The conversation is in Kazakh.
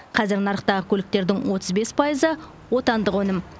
қазір нарықтағы көліктердің отыз бес пайызы отандық өнім